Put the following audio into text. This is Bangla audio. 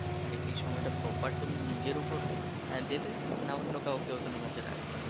যে সেই সময়টা proper তুমি নিজের উপর দিবে না অন্য কাউকেও ওইখানের মধ্যে রাখবে ।